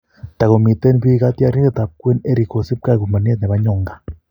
Tago miten pii kotiorindet ap kwen Erik kosip ke ak umianet nepo Nyonga.